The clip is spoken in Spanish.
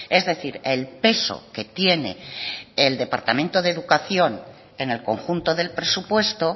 es decir el peso que tiene el departamento de educación en el conjunto del presupuesto